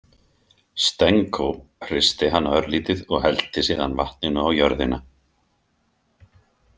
Stenko hristi hana örlítið og hellti síðan vatninu á jörðina.